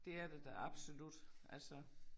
Det er der da absolut altså